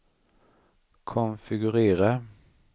konfigurera